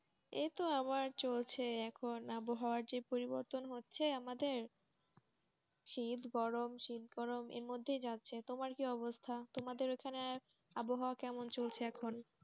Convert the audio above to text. এইতো আমার চলছে এখন আবহাওয়ার যে পরিবর্তন হচ্ছে আমাদের, শীত-গরম শীত-গরম এর মধ্যেই যাচ্ছে তোমার কি অবস্থা? তোমাদের ওখানে আবহাওয়া কেমন চলছে এখন?